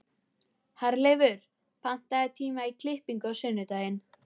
Herleifur, pantaðu tíma í klippingu á sunnudaginn.